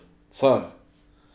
Car!